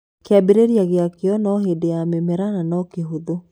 Kĩambĩrĩria gĩakĩo no hĩndĩ ya mĩmera na no kĩhũthũ.